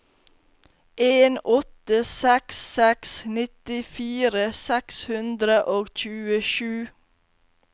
en åtte seks seks nittifire seks hundre og tjuesju